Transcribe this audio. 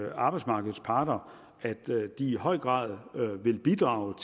at arbejdsmarkedets parter i høj grad vil bidrage